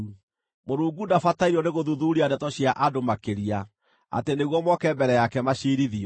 Mũrungu ndabatairio nĩgũthuthuuria ndeto cia andũ makĩria, atĩ nĩguo moke mbere yake maciirithio.